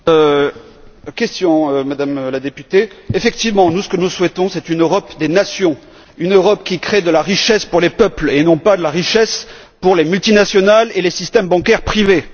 Pour répondre à votre question, Madame la députée, effectivement, ce que nous souhaitons, c'est une Europe des nations, une Europe qui crée de la richesse pour les peuples et non pas de la richesse pour les multinationales et les systèmes bancaires privés.